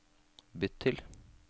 bytt til